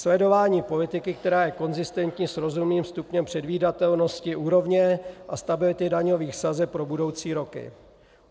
Sledování politiky, která je konzistentní s rozumným stupněm předvídatelnosti úrovně a stability daňových sazeb pro budoucí roky.